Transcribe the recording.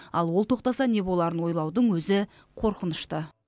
ал ол тоқтаса не боларын ойлаудың өзі қорқынышты